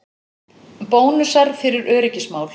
Bónusar fyrir öryggismál